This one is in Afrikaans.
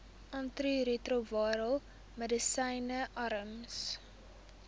antiretrovirale medisyne arms